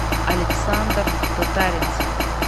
александр татаринцев